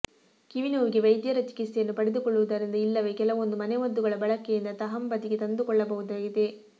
ಕಿವಿ ನೋವಿಗೆ ವೈದ್ಯರ ಚಿಕಿತ್ಸೆಯನ್ನು ಪಡೆದುಕೊಳ್ಳುವುದರಿಂದ ಇಲ್ಲವೇ ಕೆಲವೊಂದು ಮನೆಮದ್ದುಗಳ ಬಳಕೆಯಿಂದ ತಹಬಂದಿಗೆ ತಂದುಕೊಳ್ಳಬಹುದಾಗಿದೆ